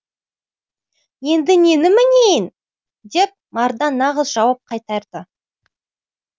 енді нені мінейін деп мардан нағыз жауап қайтарды